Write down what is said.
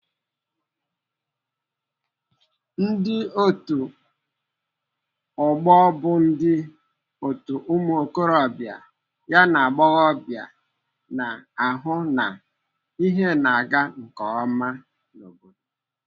Ndị otu ọgbọ bụ ndị otu ụmụokorobịa na agbọghọbia na-ahụ na ihe na-aga nke ọma n'obodo.